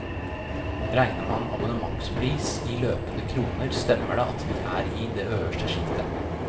Regner man abonnementspris i løpende kroner stemmer det at vi er i det øverste sjiktet.